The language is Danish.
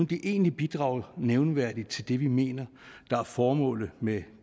det egentlig bidrager nævneværdigt til det vi mener er formålet med